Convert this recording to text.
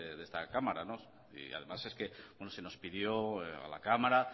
de esta cámara y además es que se nos pidió a la cámara